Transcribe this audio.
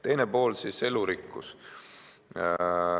Teine pool – elurikkus.